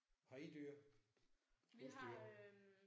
Har I dyr? Husdyr